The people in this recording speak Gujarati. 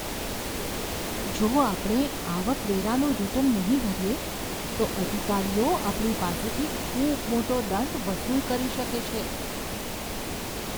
જો આપણે આવકવેરાનું રીટર્ન નહીં ભરીએ, તો અધિકારીઓ આપણી પાસેથી ખૂબ મોટો દંડ વસૂલ કરી શકે છે.